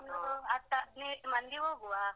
ನಾವು ಒಂದು ಹತ್ತು ಹದಿನೈದು ಮಂದಿ ಹೋಗುವ ಹಾ.